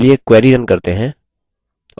चलिए query run करते हैं